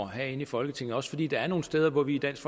herinde i folketingets fordi der er nogle steder hvor vi i dansk